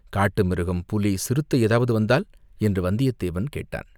காட்டுமிருகம், புலி, சிறுத்தை ஏதாவது வந்தால், என்று வந்தியத்தேவன் கேட்டான்.